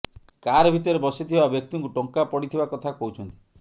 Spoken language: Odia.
କାର ଭିତରେ ବସିଥିବା ବ୍ୟକ୍ତିଙ୍କୁ ଟଙ୍କା ପଡିଥିବା କଥା କହୁଛନ୍ତି